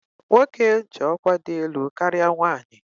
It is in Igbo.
Nwoke ji ọkwá dị elu karịa nwanyị.